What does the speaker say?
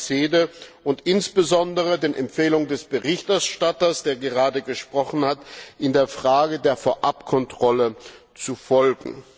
des SEDE Ausschusses und insbesondere den Empfehlungen des Berichterstatters, der gerade gesprochen hat, in der Frage der Vorabkontrolle zu folgen.